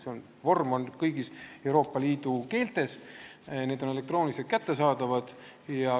See vorm on kõigis Euroopa Liidu keeltes ja see on elektrooniliselt kättesaadav.